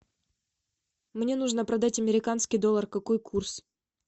мне нужно продать американский доллар какой курс